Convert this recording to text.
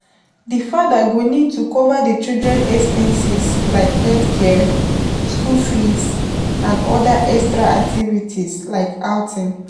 Di father go need to cover di children expenses like healthcare, school fees and oda extra activities like outing